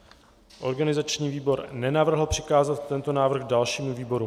Organizační výbor nenavrhl přikázat tento návrh dalšímu výboru.